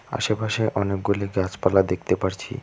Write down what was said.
আশেপাশে অনেকগুলি গাছপালা দেখতে পারছি।